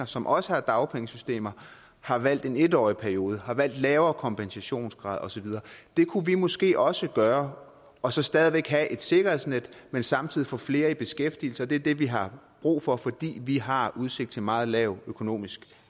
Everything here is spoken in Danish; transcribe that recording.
som også har dagpengesystemer har valgt en en årig periode har valgt lavere kompensationsgrad og så videre det kunne vi måske også gøre og stadig væk have et sikkerhedsnet men samtidig få flere i beskæftigelse det er det vi har brug for fordi vi har udsigt til meget lav økonomisk